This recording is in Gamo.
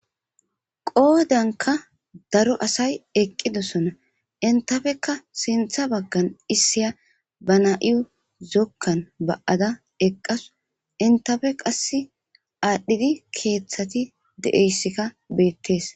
qoodanka daro asay eqqidosona intafekka sintha baggan issiya ba na7iyu zokkan ba7ada eqqasu intafe qass aadhdhidi keeththati de7eyssikka beettees